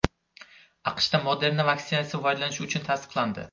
AQShda Moderna vaksinasi foydalanish uchun tasdiqlandi.